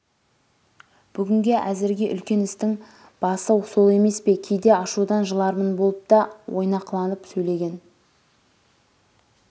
бүгінге әзірге үлкен істің біасы сол емес пе кейде ашудан жыларман болып та ойнақыланып сөйлеген